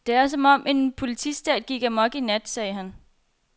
Det er som om, at en politistat gik amok i nat, sagde han.